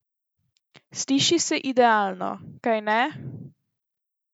Sliši se idealno, kajne?